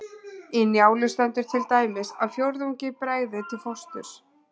Í Njálu stendur til dæmis að fjórðungi bregði til fósturs.